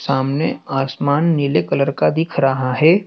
सामने आसमान नीले कलर का दिख रहा है।